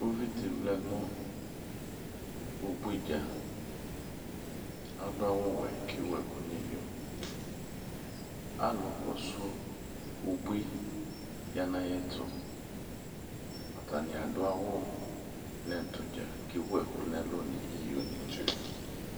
Uvi dɩ vlɛ nʋ ubui dza Adʋ awʋwɛ kʋ ewu ɛkʋ nʋ iyo Alʋkɔsʋ ubui ya nʋ ayɛtʋ Atanɩ adʋ awʋ nʋ ɛtʋ dza kʋ ewu ɛkʋ nʋ ɛlʋ nʋ iyonɩ dza